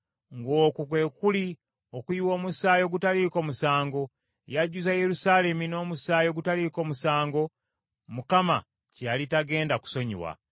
ng’okwo kwe kuli okuyiwa omusaayi ogutaliiko musango. Yajjuza Yerusaalemi n’omusaayi ogutaliiko musango, Mukama kye yali tagenda kusonyiwa.